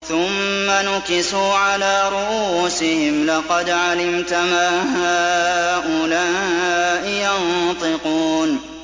ثُمَّ نُكِسُوا عَلَىٰ رُءُوسِهِمْ لَقَدْ عَلِمْتَ مَا هَٰؤُلَاءِ يَنطِقُونَ